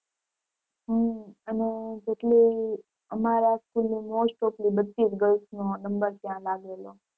હમ અને જેટલી અમારા school ની most of લી બધી જ girls નો number ત્યાં લાગેલો.